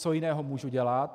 Co jiného můžu dělat?